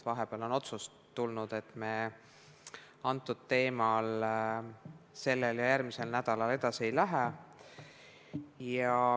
Vahepeal on tulnud otsus, et me kõnealuse teemaga sellel ja järgmisel nädalal edasi ei lähe.